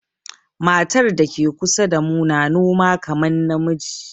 Matar da ke kusa damu na noma kaman na miji.